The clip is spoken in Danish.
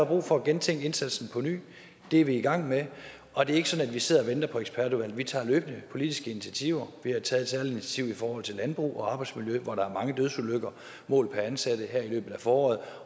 brug for at gennemtænke indsatsen på ny det er vi i gang med og det er ikke sådan at vi sidder og venter på ekspertudvalget vi tager løbende politiske initiativer vi har taget et særligt initiativ i forhold til landbrug og arbejdsmiljø hvor der er mange dødsulykker målt per ansat her i løbet af foråret